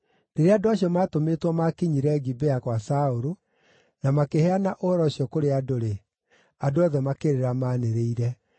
Rĩrĩa andũ acio matũmĩtwo maakinyire Gibea gwa Saũlũ na makĩheana ũhoro ũcio kũrĩ andũ-rĩ, andũ othe makĩrĩra maanĩrĩire.